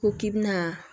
Ko k'i bɛna